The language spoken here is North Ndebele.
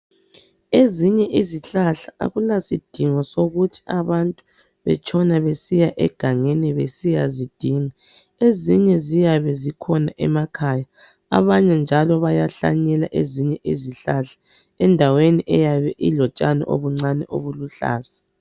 Ezinye izihlahla akulasidingo sokuthi abantu batshone besiya egangeni besiya zidinga, ezinye ziyabe zikhona emakhaya, abanye njalo bayahlanyela ezinye izihlahla endaweni eyabe ilotshani obuncane obuluhlaza.